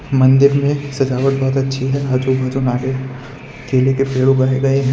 मंदिर में सजावट बहोत अच्छी है आजू बाजू नारियल केले के पेड़ उगाए गए हैं।